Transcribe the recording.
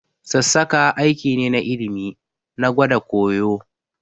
Sassaƙa aiki ne na ilimi, na gwada koya